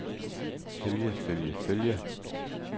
følge følge følge